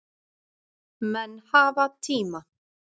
Menn hafa tíma